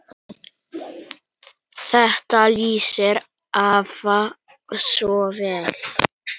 Þetta lýsir afa svo vel.